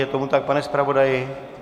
Je tomu tak, pane zpravodaji?